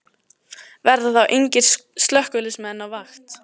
Verða þá engir slökkviliðsmenn á vakt?